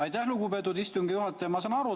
Aitäh, lugupeetud istungi juhataja!